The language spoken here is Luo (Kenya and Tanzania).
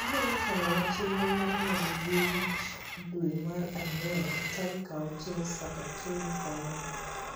Inyalo chano na chenro mar ng'ado yie wich dwe mar ang'wen tarik achiel Saskatoon kono.